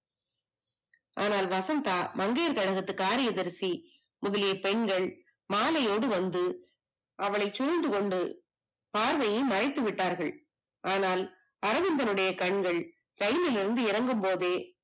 ஆனால் வசந்தா மங்கையர் கழகத்து காரியதரிசி முதலிய பெண்கள் மாளையோடு வந்து அவளை சூழ்ந்துகொண்டு பார்வையை மறைத்துவிட்டார்கள் ஆனால் அரவிந்தனுடைய கண்கள் இரயிலில் இருந்து இறங்கும்போதே